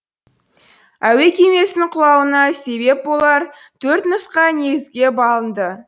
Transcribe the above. әуе кемесінің құлауына себеп болар төрт нұсқа негізге алынды